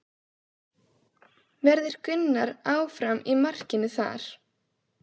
Verður Gunnar áfram í markinu þar?